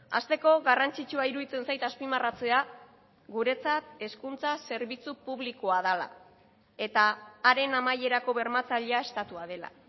hasteko garrantzitsua iruditzen zait azpimarratzea guretzat hezkuntza zerbitzu publikoa dela eta haren amaierako bermatzailea estatua dela